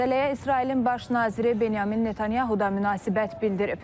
Məsələyə İsrailin baş naziri Benyamin Netanyahu da münasibət bildirib.